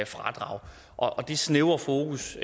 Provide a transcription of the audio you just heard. fradrag og det snævre fokus